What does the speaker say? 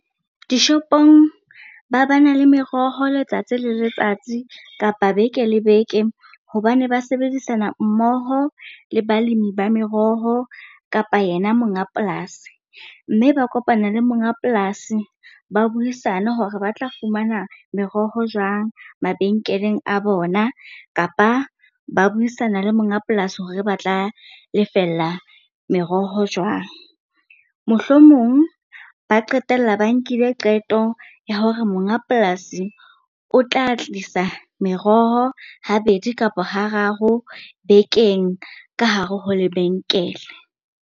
Dishopong ba bana le meroho letsatsi le letsatsi kapa beke le beke hobane ba sebedisana mmoho le balemi ba meroho kapa yena monga polasi. Mme ba kopana le monga polasi, ba buisane hore ba tla fumana meroho jwang mabenkeleng a bona kapa ba buisana le monga polasi hore ba tla lefella meroho jwang. Mohlomong ba qetella ba nkile qeto ya hore monga polasi o tla tlisa meroho habedi kapa hararo bekeng ka hare ho lebenkele.